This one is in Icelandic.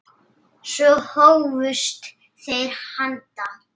Svo hófust þeir handa.